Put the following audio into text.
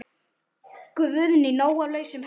Guðný: Nóg af lausum hellum?